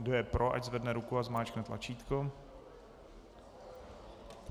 Kdo je pro, ať zvedne ruku a zmáčkne tlačítko.